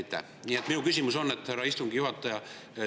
Nüüd minu küsimus, härra istungi juhataja.